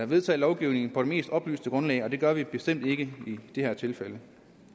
vedtage lovgivning på det mest oplyste grundlag og det gør vi bestemt ikke i det her tilfælde